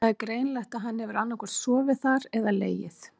Það er greinilegt að hann hefur annaðhvort sofið þar eða legið.